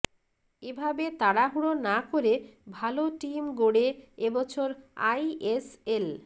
এ ভাবে তাড়াহুড়ো না করে ভালো টিম গড়ে এ বছর আইএসএল